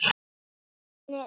Staðan er erfið.